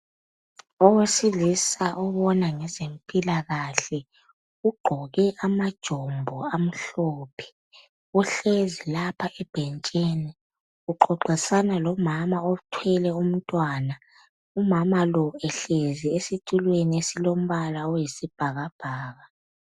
Owesilisa obona ngezempilakahle ugqoke amajombo amhlophe uhlezi lapha ebhentshini uqoqisana lomama othwele umntwana umama lo ehlezi esitulweni esilombala oyisibhakabhaka.